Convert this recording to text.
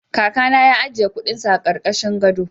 Kakana ya ajiye kuɗinsa a ƙarƙashin gado.